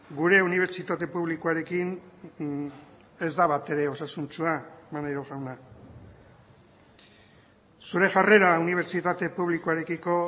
gure unibertsitate publikoarekin ez da batere osasuntsua maneiro jauna zure jarrera unibertsitate publikoarekiko